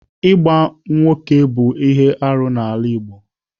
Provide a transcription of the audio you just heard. Ịgba nwoke bụ ihe arụ n'ala Igbo.